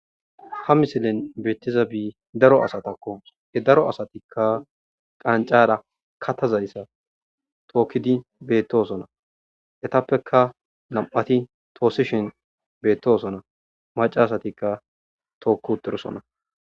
Ha misileni betizabi daro asatakko he daro asatikka qaniccara kata asatakka tokkidi betosona eyitappe namati tosishshin betosona macca asatikka tokki uttidosona